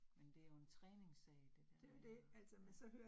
Men det jo en træningssag det dér med og ja